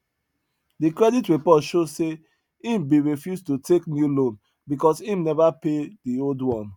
the credit report show say him bin refuse to take new loan because him never pay the old one